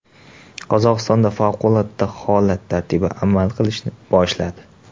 Qozog‘istonda favqulodda holat tartibi amal qilishni boshladi.